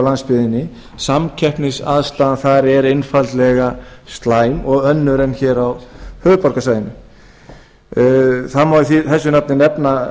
landsbyggðinni samkeppnisaðstaðan þar er einfaldlega slæm og önnur en hér á höfuðborgarsvæðinu það má þessu nafni nefna